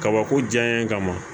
Kabako diya ye ka ma